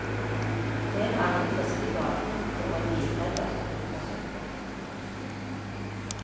En og annen dristig badenymfe og en livredder som plukker søppel.